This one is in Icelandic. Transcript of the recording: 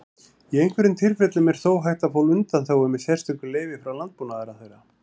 Í einhverjum tilfellum er þó hægt að fá undanþágu með sérstöku leyfi frá Landbúnaðarráðherra.